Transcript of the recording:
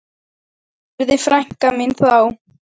spurði frænka mín þá.